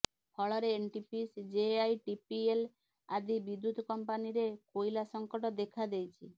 ଫଳରେ NTPC JITPL ଆଦି ବିଦ୍ୟୁତ କମ୍ପାନୀ ରେ କୋଇଲା ସଙ୍କଟ ଦେଖାଦେଇଛି